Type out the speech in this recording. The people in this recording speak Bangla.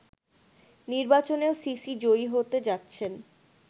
নির্বাচনেও সিসি জয়ী হতে যাচ্ছেন